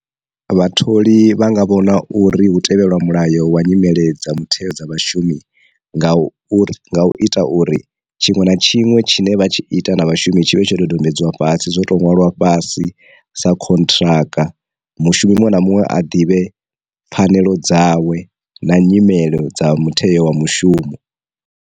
Vhatholi vhanga vho na uri hu tevhelwa mulayo wa nyimele dza mutheo dza vhashumi, nga u nga u ita uri tshiṅwe na tshiṅwe tshine vha tshi ita na vhashumi tshine tsho dodombedzwa fhasi zwo to ṅwalwa fhasi sa khontiraka, mu shumi muṅwe na muṅwe a ḓivhe pfhanelo dzawe na nyimelo dza mutheo wa mushumo.